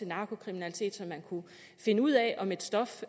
narkokriminalitet så man kunne finde ud af om et stof